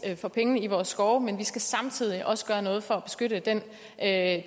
for pengene i vores skove men vi skal samtidig også gøre noget for at